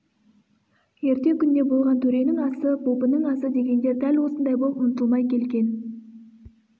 ерте күнде болған төренің асы бопының асы дегендер дәл осындай боп ұмытылмай келген